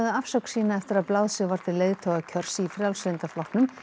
afsögn sína eftir að blásið var til leiðtogakjörs í Frjálslynda flokknum